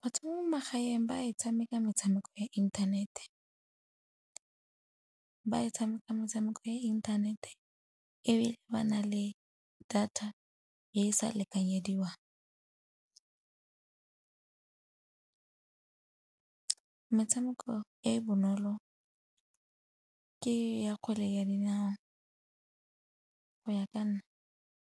Batho ba mo magaeng ba e tshameka metshameko ya inthanete, ba e tshameka metshameko ya inthanete ebile ba na le data e sa lekanyediwang. Metshameko e e bonolo ke ya kgwele ya dinao go ya ka nna.